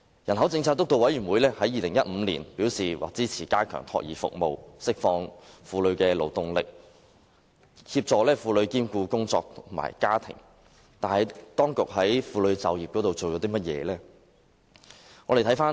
人口政策督導委員會於2015年表示支持加強託兒服務，以釋放婦女勞動力，協助婦女兼顧工作與家庭，但當局在婦女就業方面做了甚麼？